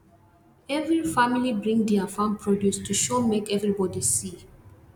every family bring dia farm produce to show make everybody see